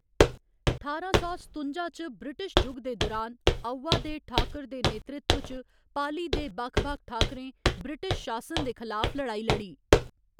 ठारां सौ सतुंजा च ब्रिटिश जुग दे दुरान, आउवा दे ठाकुर दे नेतृत्व च पाली दे बक्ख बक्ख ठाकुरें ब्रिटिश शासन दे खलाफ लड़ाई लड़ी।